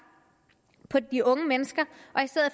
på de unge mennesker